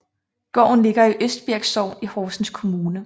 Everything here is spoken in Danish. Gården ligger i Østbirk Sogn i Horsens Kommune